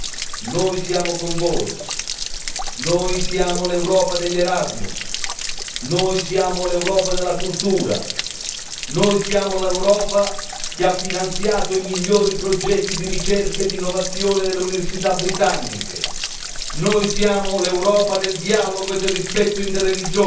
Noi siamo con voi, noi siamo l'Europa degli Erasmus, noi siamo l'Europa della cultura, noi siamo l'Europa che ha finanziato i migliori progetti di ricerca e innovazione delle università britanniche, noi siamo l'Europa del dialogo e del rispetto interreligioso,